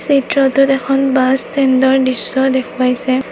চিত্ৰটোত এখন বাছ ষ্টেণ্ডৰ দৃশ্য দেখুৱাইছে।